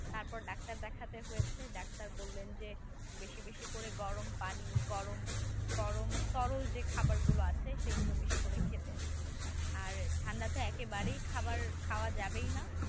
তারপর ডাক্তার দেখাতে হয়েছে ডাক্তার বললেন যে বেশি বেশি করে গরম পানি গরম গরম তরল যে খাবারগুলো আছে সেগুলো বেশি করে খেতে আর ঠান্ডাতে একেবারে খাবার খাওয়াই যাবে না